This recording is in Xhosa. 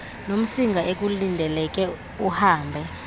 nomsinga ekulindeleke uhambe